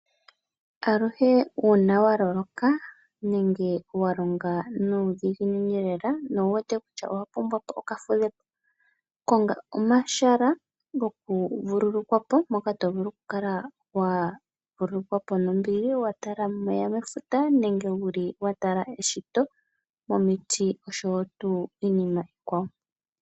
Aluhe uuna wa loloka nenge wa longa nuudhiginini lela nowu wete kutya owa pumbwa okafudhepo, konga omahala goku vululukwapo mpoka to vulu oku kala wa vululukwa po nombili wa tala omeya mefuta nenge wu li wa tala eshito, omiti oshowo iinima iikwawo.